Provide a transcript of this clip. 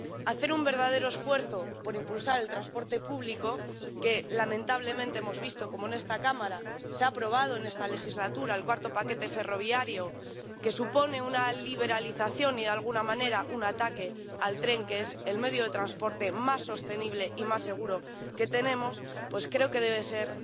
Hacer un verdadero esfuerzo por impulsar el transporte público —lamentablemente, hemos visto cómo en esta Cámara se ha aprobado en esta legislatura el cuarto paquete ferroviario, que supone una liberalización y de alguna manera un ataque al tren, que es el medio de transporte más sostenible y más seguro que tenemos— pues creo que debe ser